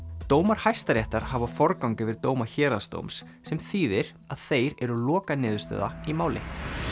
dómar Hæstaréttar hafa forgang yfir dóma héraðsdóms sem þýðir að þeir eru lokaniðurstaða í máli